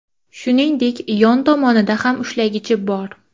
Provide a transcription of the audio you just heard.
Shuningdek, yon tomonida ham ushlagichi bor.